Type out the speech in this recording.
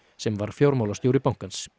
sem var fjármálastjóri bankans